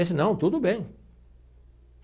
Disse não, tudo bem.